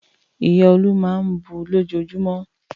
Ìyá Olú máa ń bu lójoojúmọ́.